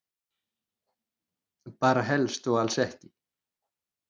Bara helst og alls ekki.